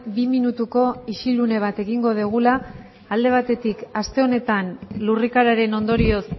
bi minutuko isilune bat egingo dugula alde batetik aste honetan lurrikararen ondorioz